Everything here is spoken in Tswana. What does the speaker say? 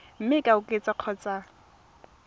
mme e ka oketswa kgotsa